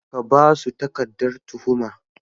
Ka ba su takardar tuhuma.